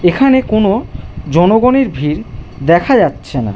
এখানে কোন জনগণের ভিড় দেখা যাচ্ছে না।